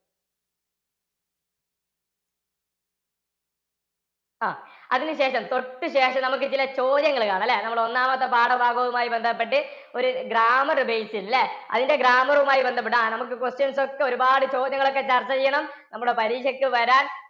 അഹ് അതിന് ശേഷം തൊട്ട് ശേഷം നമുക്ക് ഇതിലെ ചോദ്യങ്ങള് കാണാം ല്ലേ? നമ്മുടെ ഒന്നാമത്തെ പാഠഭാഗംങ്ങളുമായി ബന്ധപ്പെട്ട് ഒരു grammar base ചെയ്ത് ല്ലേ? അതിന്റെ grammar മായി ബന്ധപ്പെട്ട് അഹ് നമുക്ക് questions ഒക്കെ ഒരുപാട് ചോദ്യങ്ങളൊക്കെ ചര്‍ച്ച ചെയ്യണം. നമ്മുടെ പരീക്ഷക്ക്‌ വരാന്‍